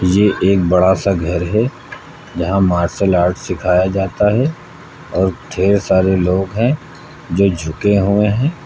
ये एक बड़ा सा घर है जहां मार्शल आर्ट सिखाया जाता है और ढ़ेर सारे लोग हैं जो झुके हुए हैं।